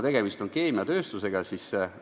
Tegemist on keemiatööstusettevõttega.